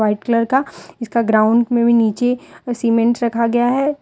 White colour का इसका ground में भी नीचे सीमेंट रखा गया है।